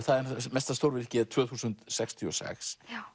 mesta stórvirkið er tvö þúsund sextíu og sex